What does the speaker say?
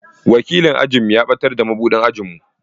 Wakilin ajinmu ya ɓatar da mabuɗin ajin mu.